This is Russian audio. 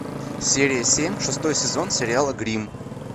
серия семь шестой сезон сериала гримм